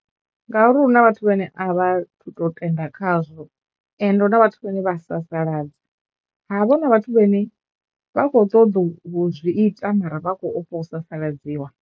Ngauri hu na vhathu vhane a vha thu to tenda khazwo ende hu na vhathu vhane vha sasaladza, ha vha hu na vhathu vhane vha khou tou zwi ita mara vha khou ofha u sasaladziwa.